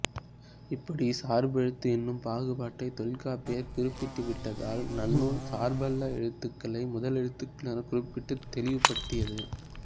இப்படிச் சார்பெழுத்து என்னும் பாகுபாட்டைத் தொல்காப்பியர் குறிப்பிட்டுவிட்டதால் நன்னூல் சார்பல்லா எழுத்துகளை முதலெழுத்து எனக் குறிப்பிட்டுத் தெளிவுபடுத்தியது